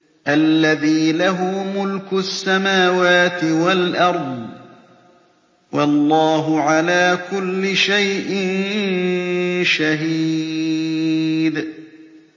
الَّذِي لَهُ مُلْكُ السَّمَاوَاتِ وَالْأَرْضِ ۚ وَاللَّهُ عَلَىٰ كُلِّ شَيْءٍ شَهِيدٌ